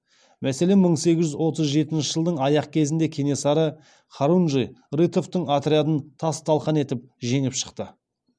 мәселен мың сегіз жүз отыз жетінші жылдың аяқ кезінде кенесары хорунжий рытовтың отрядын тас талқан етіп жеңіп шықты